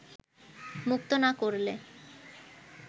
মুক্ত না করলে